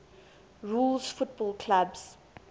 rules football clubs